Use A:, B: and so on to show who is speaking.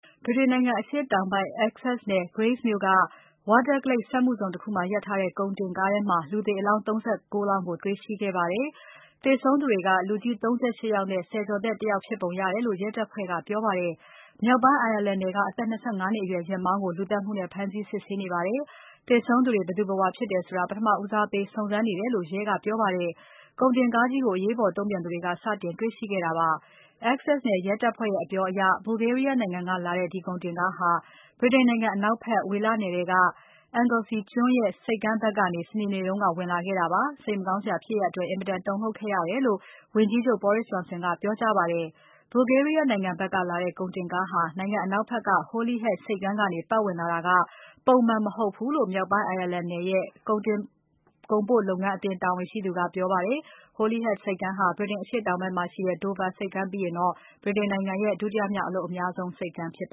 A: ဗြိတိန်နိုင်ငံ Essex နယ် Grays မြို့က Waterglade စက်မှုဇုန်တခုမှာ ရပ်ထားတဲ့ ကုန်တင်ကားထဲမှာ လူသေအလောင်း ၃၉ လောင်းကို တွေ့ရှိခဲ့ပါတယ်။ သေဆုံးသူတွေက လူကြီး ၃၈ ယောက်နဲ့ ဆယ်ကျော်သက် တ ယောက်ဖြစ်ပုံရတယ်လို့ ရဲတပ်ဖွဲ့ကပြောပါတယ်။ မြောက်ပိုင်း Ireland နယ်က အသက် ၂၅ နှစ်အရွယ် ယာဉ်မောင်းကို လူသတ်မှုနဲ့ ဖမ်းဆီး စစ်ဆေးနေပါတယ်။ သေဆုံးသူတွေ ဘယ်သူ ဘယ်ဝါဖြစ်တယ်ဆိုတာကို ပထမဦးစားပေး စုံစမ်းနေတယ်လို့ ရဲ ကပြောပါတယ်။ ကုန်တင်ကားကြီးကို အရေးပေါ် တုံ့ပြန်သူတွေက စတင်တေ့ွရှိခဲ့တာပါ။ Essex နယ်ရဲတပ်ဖွဲ့ရဲ့ အပြောအရ Bulgaria နိုင်ငံကနေလာတဲ့ ဒီကုန်တင်ကားဟာ ဗြိတိန်နိုင်ငံ အနောက်ဖက် ဝေလနယ်ထဲက Anglesey ကျွန်းရဲ့ ဆိပ်ကမ်းဘက်ကနေ စနေနေ့က ဝင်လာခဲ့တာဖြစ်ပါတယ်။ ဒီစိတ်မကောင်းစရာ ဖြစ်ရပ်အတွက် အင်မတန် တုန်လှုပ်ခဲ့ရတယ်လို့ ဝန်ကြီးချုပ် Boris Johnson က ပြောကြားပါတယ်။ Bulgaria နိုင်ငံဘက်ကနေလာတဲ့ ကုန်တင်ကားဟာ Anglesey ကျွန်းမှာရှိတဲ့ Holyhead ဆိပ်ကမ်းကနေ ပါတ်ဝင်လာတာက ပုံမှန်မဟုတ်ဘူးလို့ မြောက်ပိုင်း Ireland နယ်ရဲ့ ကုန်တင်ကုန်ပို့လုပ်ငန်းအသင်းတာဝန်ရှိသူက ပြောကြားခဲ့ပါတယ်။ Holyhead ဆိပ်ကမ်းဟာ ဗြိတိန် အရှေ့တောင်ဘက်မှာရှိတဲ့ Dover ဆိပ်ကမ်းပြီးရင် ဗြိတိန်နိုင်ငံရဲ့ ဒုတိယမြောက်အလုပ်အများဆုံး ဆိပ်ကမ်းဖြစ်ပ